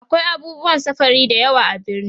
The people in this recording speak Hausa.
akwai abubuwan safari da yawa a birni